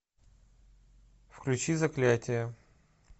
включи заклятие